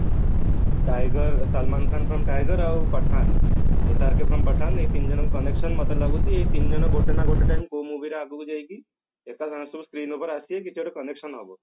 tiger Salman Khan film tiger ଆଉ pathan SRK film pathan ଏଇ ତିନିଜଣଙ୍କ connection ମତେ ଲାଗୁଛି ଏଇ ତିନି ଜଣ ଗୋଟେ ନା ଗୋଟେ time କୋଉ movie ରେ ଆଗକୁ ଯାଇକି screen ଉପରେ ଆସିବେ କିଛି ଗୋଟେ promotion ହେବ